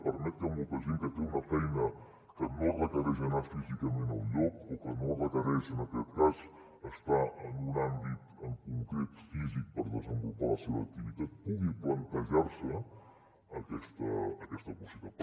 permet que molta gent que té una feina que no requereix anar físicament a un lloc o que no requereix en aquest cas estar en un àmbit concret físic per desenvolupar la seva activitat pugui plantejar se aquesta possibilitat